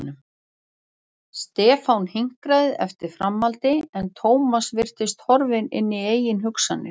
Stefán hinkraði eftir framhaldi en Thomas virtist horfinn í eigin hugsanir.